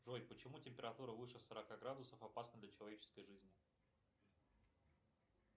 джой почему температура выше сорока градусов опасна для человеческой жизни